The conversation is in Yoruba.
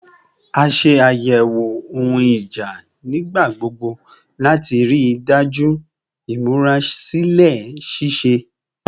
A ṣe ayẹwo ohun ija nigbagbogbo lati rii daju imurasilẹ ṣiṣe